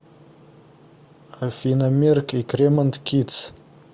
афина мерк и кремонт кидс